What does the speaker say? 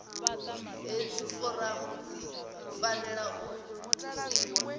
hedzi foramu dzi fanela u thusiwa